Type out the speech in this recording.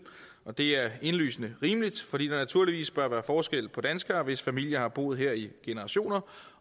og det er indlysende rimeligt fordi der naturligvis bør være forskel på danskere hvis familier har boet her i generationer